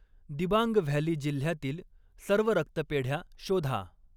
Dibang valley जिल्ह्यातील सर्व रक्तपेढ्या शोधा.